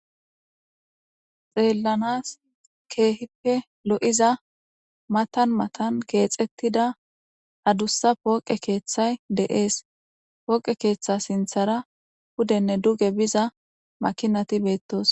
xeellanas keehippe lo7iza matan matan keexettida adussa pooqe keeththay de7ees pooqe keeththa sinthara hudenne duge biza makinati beettos